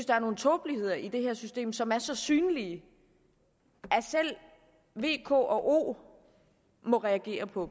der er nogle tåbeligheder i det her system som er så synlige at selv v k og o må reagere på